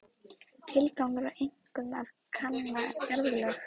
Tilgangurinn var einkum að kanna jarðlög.